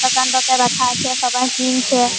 দোকানটা তে রাখা আছে সবাই কিনছে।